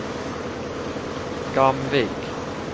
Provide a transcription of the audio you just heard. Gamvik